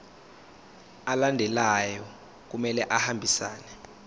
alandelayo kumele ahambisane